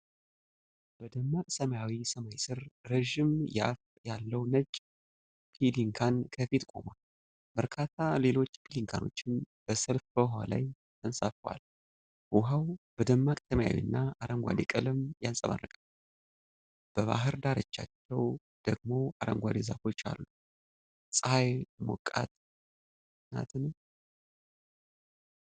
በደማቅ ሰማያዊ ሰማይ ስር፣ ረጅም የአፍ ያለው ነጭ ፔሊካን ከፊት ቆሟል። በርካታ ሌሎች ፔሊካኖችም በሰልፍ በውሃው ላይ ተንሳፍፈዋል። ውሀው በደማቅ ሰማያዊ እና አረንጓዴ ቀለም ያንጸባርቃል። በባህር ዳርቻው ደግሞ አረንጓዴ ዛፎች አሉ። ፀሐይ ሞቃት ናትን?